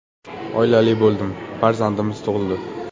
Oilali bo‘ldim, farzandimiz tug‘ildi.